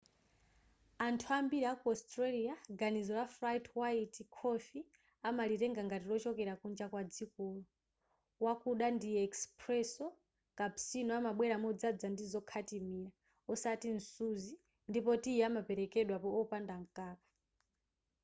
anthu ambiri aku australia ganizo la ‘flat white’ khofi amalitenga ngati lochokera kunja kwadzikolo. wakuda ndi ‘espresso’ cappuccino amabwera modzadza ndi zokhatimira osati msuzi ndipo tiyi amaperekedwa opanda mkaka